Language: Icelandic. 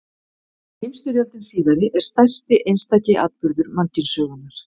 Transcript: Heimsstyrjöldin síðari er stærsti einstaki atburður mannkynssögunnar.